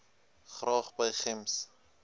graag by gems